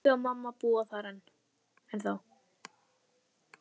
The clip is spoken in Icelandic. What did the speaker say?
Pabbi og mamma búa þar ennþá.